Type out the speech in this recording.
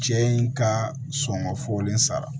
Cɛ in ka sɔngɔ fɔlen sara